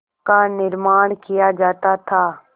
का निर्माण किया जाता था